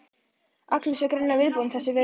Agnes var greinilega viðbúin þessum viðbrögðum.